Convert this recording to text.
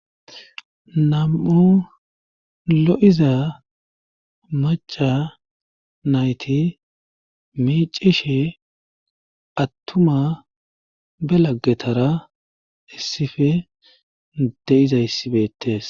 nam7u lo7iza maca nayti miicishe attuma be laggetara issife de'izayssi beetes